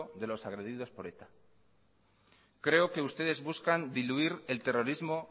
de los agredidos por eta creo que ustedes buscan diluir el terrorismo